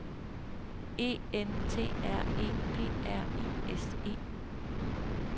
E N T R E P R I S E